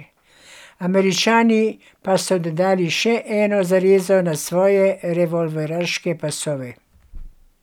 Američani pa so dodali še eno zarezo na svoje revolveraške pasove.